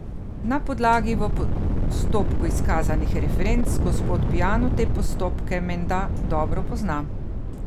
Na podlagi v postopku izkazanih referenc gospod Piano te postopke menda dobro pozna.